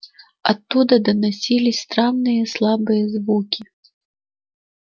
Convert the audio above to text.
оттуда доносились странные слабые звуки